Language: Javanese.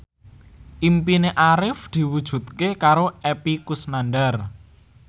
impine Arif diwujudke karo Epy Kusnandar